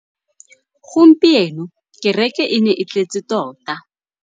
Gompieno kêrêkê e ne e tletse tota.